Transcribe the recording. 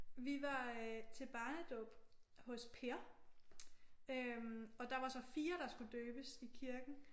Vi var øh til barnedåb hos Per øh og der var så 4 der skulle døbes i kirken